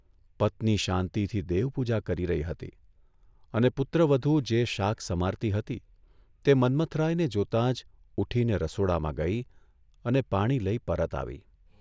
પત્ની શાંતિથી દેવપૂજા કરી રહી હતી અને પુત્રવધુ જે શાક સમારતી હતી તે મન્મથરાયને જોતાં જ ઉઠીને રસોડામાં ગઇ અને પાણી લઇ પરત આવી.